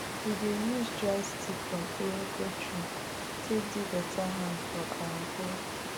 we dey use dry stick from iroko tree take do better hand for our hoe